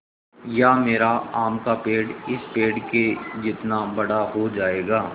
या मेरा आम का पेड़ इस पेड़ के जितना बड़ा हो जायेगा